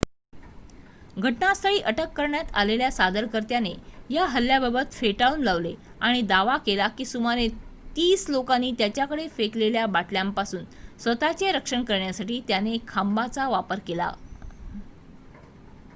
घटनास्थळी अटक करण्यात आलेल्या सादरकर्त्याने या हल्ल्याबाबत फेटाळून लावले आणि दावा केला की सुमारे तीस लोकांनी त्याच्याकडे फेकलेल्या बाटल्यांपासून स्वतःचे रक्षण करण्यासाठी त्याने खांबाचा वापर केला